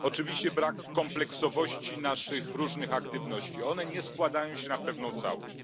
Oczywiście brak kompleksowości naszych różnych aktywności one nie składają się na pewną całość.